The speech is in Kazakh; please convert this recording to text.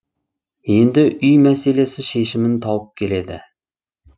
енді үй мәселесі шешімін тауып келеді